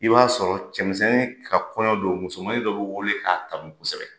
I b'a sɔrɔ cɛmisɛnni ka kɔɲɔn don musomanin dɔ be wele k'a tanu kosɛbɛ